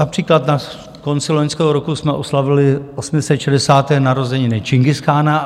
Například na konci loňského roku jsme oslavili 860. narozeniny Čingischána.